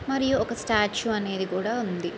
మరియు ఒక స్టాచు అనేది కూడా ఉంది.